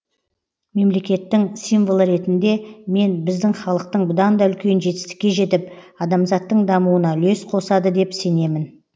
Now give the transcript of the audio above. мемлекеттің символы ретінде мен біздің халықтың бұдан да үлкен жетістікке жетіп адамзаттың дамуына үлес қосады деп сенемін